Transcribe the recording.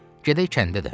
Gedək kəndə də.